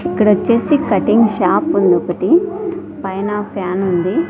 ఇక్కడ వచ్చేసి cutting shop ఉంది ఒకటి పైన ఫ్యాన్ ఉంది.